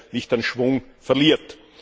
nicht an Schwung verliert.